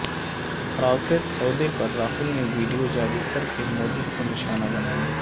Rafale سودے پر راہل نے ویڈیو جاری کرکے مودی کو نشانہ بنایا